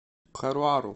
каруару